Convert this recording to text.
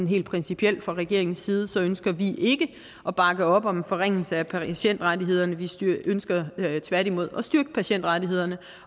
helt principielt at fra regeringens side ønsker vi ikke at bakke op om en forringelse af patientrettighederne vi ønsker tværtimod at styrke patientrettighederne